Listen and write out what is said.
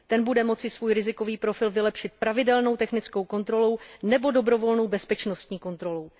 Ten bude moci svůj rizikový profil vylepšit pravidelnou technickou kontrolou, nebo dobrovolnou bezpečnostní kontrolou.